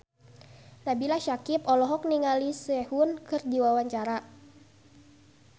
Nabila Syakieb olohok ningali Sehun keur diwawancara